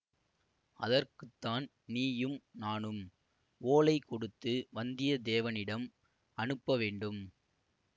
அதற்குத்தான் நீயும் நானும் ஓலை கொடுத்து வந்தியத்தேவனிடம் அனுப்ப வேண்டும்